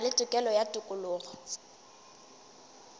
na le tokelo ya tokologo